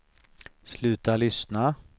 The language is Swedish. sluta lyssna